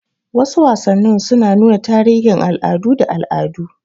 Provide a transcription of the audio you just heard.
Wasu wasannin suna nuna tarihin al'adu da al'adu.